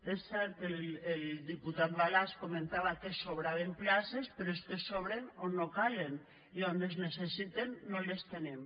és cert que el diputat balasch comentava que sobraven places però és que sobren on no calen i a on es necessiten no les tenim